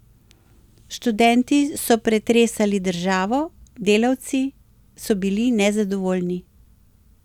Študenti so pretresali državo, delavci so bili nezadovoljni.